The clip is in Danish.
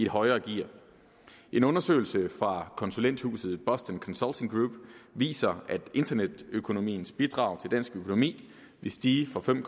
højere gear en undersøgelse fra konsulenthuset boston consulting group viser at internetøkonomiens bidrag til dansk økonomi vil stige fra fem